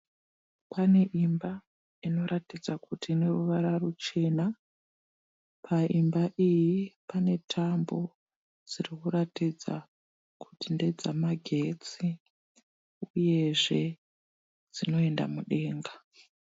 Pane imba inoratidza kuti ine ruvara ruchena. Paimba iyi pane tambo dzirikuratidza kuti ndedzamagetsi uyezve dzinoenda mudenga.